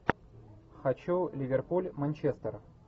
хочу ливерпуль манчестер